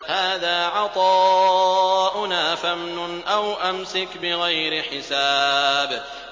هَٰذَا عَطَاؤُنَا فَامْنُنْ أَوْ أَمْسِكْ بِغَيْرِ حِسَابٍ